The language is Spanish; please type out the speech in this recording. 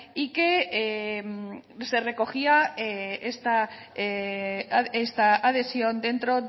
y que se recogía esta adhesión dentro